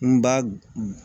N ba